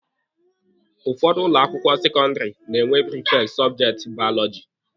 Ụfọdụ ụlọ akwụkwọ sekọndịrị na-enwe prifekti sọbjekti baọlọjị.